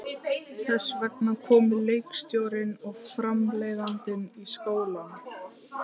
Þess vegna komu leikstjórinn og framleiðandinn í skólann.